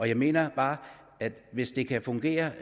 jeg mener bare at hvis de kan fungere